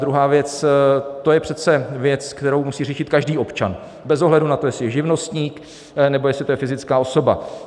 Druhá věc, to je přece věc, kterou musí řešit každý občan bez ohledu na to, jestli je živnostník, nebo jestli to je fyzická osoba.